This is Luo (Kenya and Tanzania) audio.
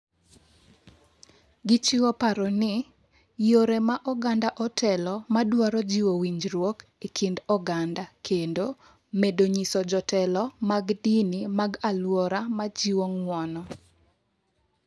Gichiwo paro ni "yore ma oganda otelo ma dwaro jiwo winjruok e kind oganda" kendo "medo nyiso jotelo mag dini mag alwora ma jiwo ng'uono".